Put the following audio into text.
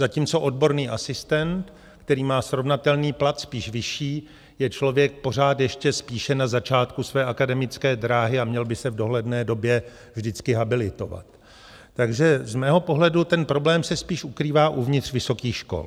Zatímco odborný asistent, který má srovnatelný plat, spíš vyšší, je člověk pořád ještě spíše na začátku své akademické dráhy a měl by se v dohledné době vždycky habilitovat, takže z mého pohledu ten problém se spíš ukrývá uvnitř vysokých škol.